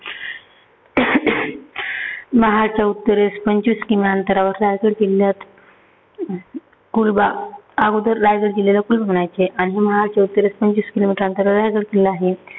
महाडच्या उत्तरेस पंचवीस kilometer अंतरावर रायगड किल्ल्या अं पूर्वा. अगोदर रायगड किल्ल्याला म्हणायचे. आणि महाडच्या उत्तरेस पंचवीस किलोमीटर अंतरावर रायगड किल्ला आहे.